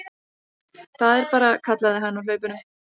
Það er bara, kallaði hann á hlaupunum.